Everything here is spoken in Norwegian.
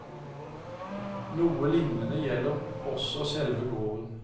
Noe lignende gjelder også selve gården.